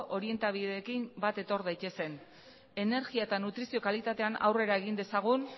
orientabideekin bat etor daitezen energia eta nutrizio kalitatean aurrera egin dezagun